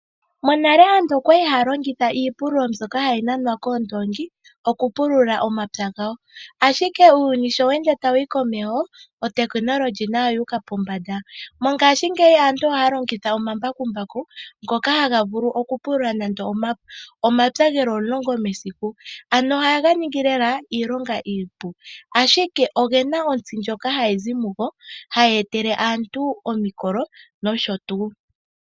Monale aantu okwa li haya longitha iipululo mbyoka hayi nanwa koondoongi oku pulula omapya gawo. Ashike uuyuni sho we ende tawu yi komeho otekinolohi tayo oyu uka pombanda, mongaashingeyi aantu ohaya longitha omambakumbaku ngoka haga vulu oku pulula nando omapya geli omulongo mesiku, ano ohaga ningi lela iilonga iipu, ashike oge na ontsi ndjoka hayi zi mugo hayi etele aantu omikolo nosho tuu.